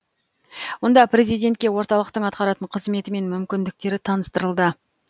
онда президентке орталықтың атқаратын қызметі мен мүмкіндіктері таныстырылды